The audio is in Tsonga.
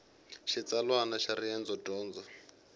xitsalwana xa riendzo dyondo